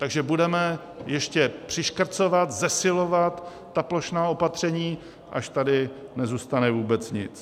Takže budeme ještě přiškrcovat, zesilovat ta plošná opatření, až tady nezůstane vůbec nic.